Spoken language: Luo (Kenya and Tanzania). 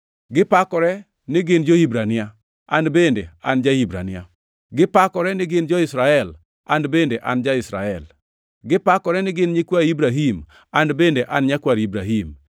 Gipakore ni gin jo-Hibrania? An bende an ja-Hibrania. Gipakore ni gin jo-Israel? An bende an ja-Israel. Gipakore ni gin nyikwa Ibrahim? An bende an nyakwar Ibrahim.